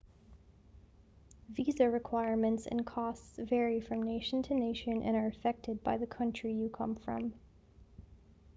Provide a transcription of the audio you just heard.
visa requirements and costs vary from nation to nation and are affected by the country you come from